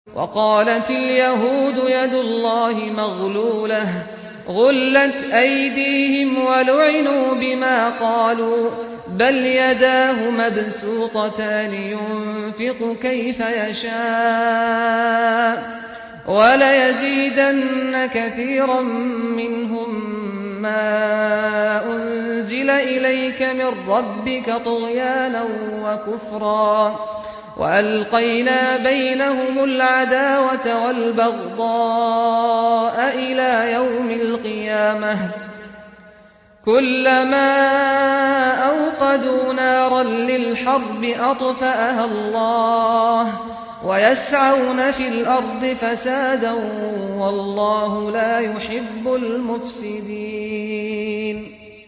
وَقَالَتِ الْيَهُودُ يَدُ اللَّهِ مَغْلُولَةٌ ۚ غُلَّتْ أَيْدِيهِمْ وَلُعِنُوا بِمَا قَالُوا ۘ بَلْ يَدَاهُ مَبْسُوطَتَانِ يُنفِقُ كَيْفَ يَشَاءُ ۚ وَلَيَزِيدَنَّ كَثِيرًا مِّنْهُم مَّا أُنزِلَ إِلَيْكَ مِن رَّبِّكَ طُغْيَانًا وَكُفْرًا ۚ وَأَلْقَيْنَا بَيْنَهُمُ الْعَدَاوَةَ وَالْبَغْضَاءَ إِلَىٰ يَوْمِ الْقِيَامَةِ ۚ كُلَّمَا أَوْقَدُوا نَارًا لِّلْحَرْبِ أَطْفَأَهَا اللَّهُ ۚ وَيَسْعَوْنَ فِي الْأَرْضِ فَسَادًا ۚ وَاللَّهُ لَا يُحِبُّ الْمُفْسِدِينَ